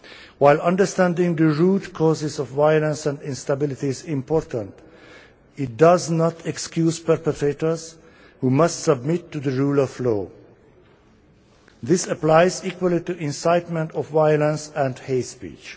While understanding the root causes of violence and instability is important, it does not excuse perpetrators, who must submit to the rule of law. This applies equally to incitement of violence and hate speech.